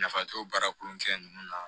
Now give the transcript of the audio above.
Nafa t'o baara kolonkɛ ninnu na